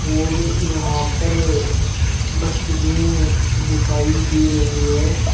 और यहां पर अह डस्टबिन दिखाई दे रही है।